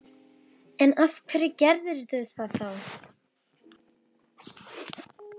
En af hverju gerðirðu það þá? spurði ég svolítið hissa.